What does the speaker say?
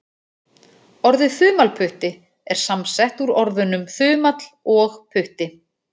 Orðið þumalputti er samsett úr orðunum þumall og putti.